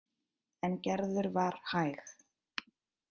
En Gerður var hæg.